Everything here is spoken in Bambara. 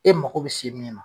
E mago bɛ se min ma